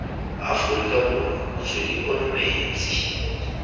afrika borwa motswedi ono metsi